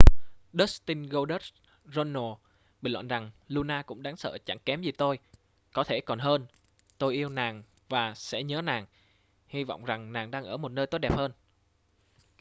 dustin goldust runnels bình luận rằng luna cũng đáng sợ chẳng kém gì tôi...có thể còn hơn...tôi yêu nàng và sẽ nhớ nàng...hy vọng rằng nàng đang ở một nơi tốt đẹp hơn.